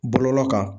Bɔlɔlɔ kan